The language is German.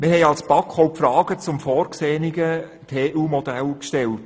Wir haben als BaK auch Fragen zum vorgesehenen TUModell gestellt.